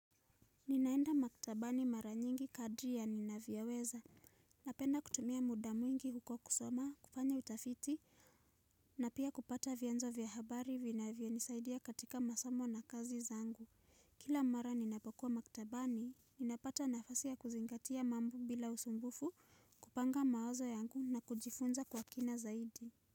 Ninaenda maktabani mara nyingi kadri ya ninavyoweza, napenda kutumia muda mwingi huko kusoma, kufanya utafiti, na pia kupata vyanzo vya habari vinavyonisaidia katika masomo na kazi zangu. Kila mara ninapokuwa maktabani, ninapata nafasi ya kuzingatia mambo bila usumbufu, kupanga mawazo yangu na kujifunza kwa kina zaidi.